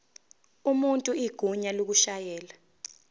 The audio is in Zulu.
umuntu igunya lokushayela